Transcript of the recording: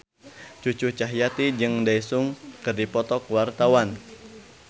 Cucu Cahyati jeung Daesung keur dipoto ku wartawan